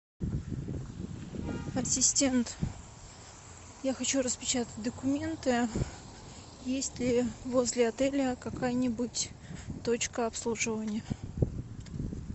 ассистент я хочу распечатать документы есть ли возле отеля какая нибудь точка обслуживания